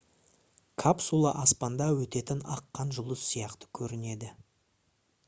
капсула аспанда өтетін аққан жұлдыз сияқты көрінеді